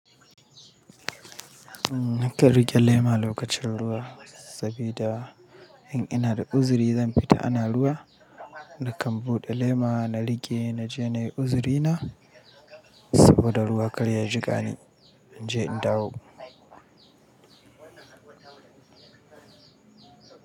Nakan riƙe lema lokacin ruwa sabida in ina da uziri zan fita ana ruwa nakan buɗe lema na riƙe na je nayi uziri na saboda ruwa kal ya jiƙa ni inje in dawo.